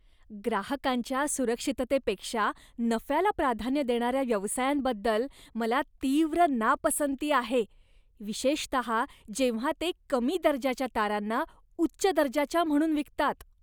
ग्राहकांच्या सुरक्षिततेपेक्षा नफ्याला प्राधान्य देणाऱ्या व्यवसायांबद्दल मला तीव्र नापसंती आहे, विशेषतः जेव्हा ते कमी दर्जाच्या तारांना उच्च दर्जाच्या म्हणून विकतात.